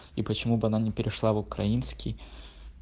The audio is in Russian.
и почему бы она не перешла в украинский